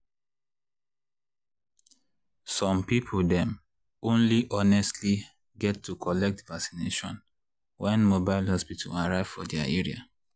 .— some people dem only honestly get to collect vacination when mobile hospital arrive for their area.